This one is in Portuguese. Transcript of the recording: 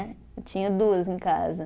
Tinha duas em casa.